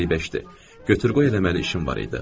Qəribəşdi götür-qoy eləməli işim var idi.